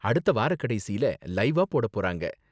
அடுத்த வாரக்கடைசியில லைவ்வா போடப் போறாங்க.